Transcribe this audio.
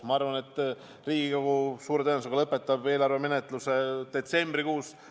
Ma arvan, et Riigikogu suure tõenäosusega lõpetab eelarve menetluse detsembrikuus.